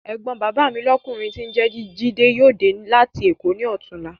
Ẹ̀gbọ́n bàbá lọ́kùnrin mi tí ń jẹ́ jídé yóò dé láti Èkó ní ọ̀túnla.